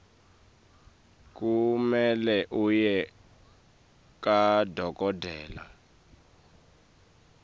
kumele uye kadokotela